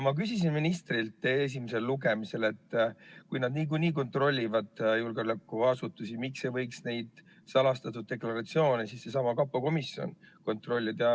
Ma küsisin ministrilt esimesel lugemisel, et kui nad niikuinii kontrollivad julgeolekuasutusi, siis miks ei võiks neid salastatud deklaratsioone seesama kapo komisjon kontrollida.